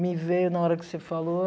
Me veio na hora que você falou.